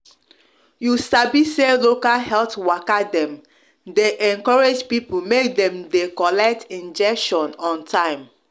you sabi say local health waka dem dey encourage people make dem de collect injection on time